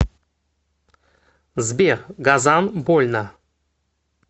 сбер газан больно